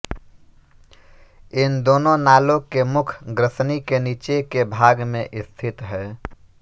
इन दोनों नालों के मुख ग्रसनी के नीचे के भाग में स्थित हैं